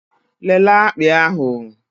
Lelee akpị ahụ!